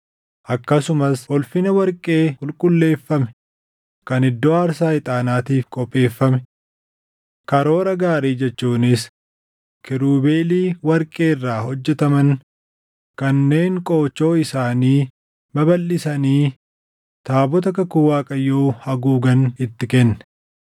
akkasumas ulfina warqee qulqulleeffame kan iddoo aarsaa ixaanaatiif qopheeffame. Karoora gaarii jechuunis kiirubeelii warqee irraa hojjetaman kanneen qoochoo isaanii babalʼisanii taabota kakuu Waaqayyoo haguugan itti kenne.